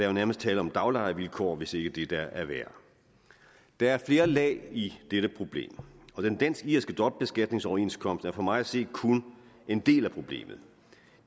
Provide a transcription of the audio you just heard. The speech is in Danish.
jo nærmest tale om daglejervilkår hvis ikke det der er værre der er flere lag i dette problem og den dansk irske dobbeltbeskatningsoverenskomst er for mig at se kun en del af problemet